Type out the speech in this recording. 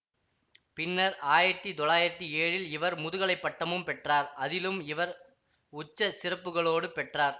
பின்னர் ஆயிரத்தி தொள்ளாயிரத்தி ஏழில் இவர் முதுகலை பட்டமும் பெற்றார் அதிலும் இவர் உச்சச் சிறப்புகளோடு பெற்றார்